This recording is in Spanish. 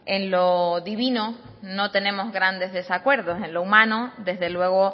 en lo divino no tenemos grandes desacuerdos en lo humano desde luego